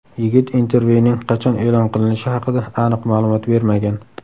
Yigit intervyuning qachon e’lon qilinishi haqida aniq ma’lumot bermagan.